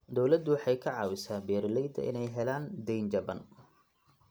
Dawladdu waxay ka caawisaa beeralayda inay helaan deyn jaban.